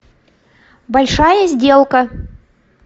большая сделка